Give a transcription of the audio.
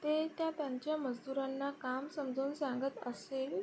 ते त्या त्यांच्या मजदुरांना काम समजाऊन सांगत असेल.